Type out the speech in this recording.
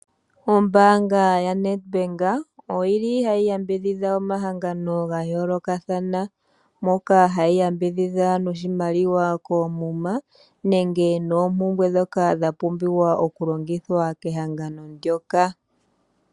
Ombaanga ya Nedbank oyili hayi yambidhidha omahangano ga yoolokathana. Moka hayi yambidhidha noshimaliwa koomuma, nenge noompumbwe ndhoka dha pumbiwa okulongithwa kehangano ndyoka.